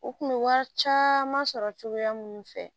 U kun bɛ wari caman sɔrɔ cogoya minnu fɛ